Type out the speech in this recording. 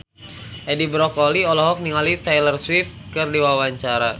Edi Brokoli olohok ningali Taylor Swift keur diwawancara